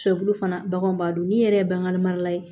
Sɛbulu fana baganw b'a dɔn ni yɛrɛ ye bange mara la ye